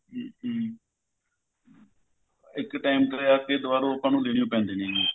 ਇੱਕ time ਤੇ ਆਪੇ ਦਵਾਰੋ ਲੇਣੇ ਹੀ ਪੈਂਦੇ ਨੇ ਇਹ